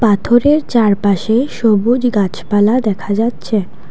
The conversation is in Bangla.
পাথরের চারপাশে সবুজ গাছপালা দেখা যাচ্ছে।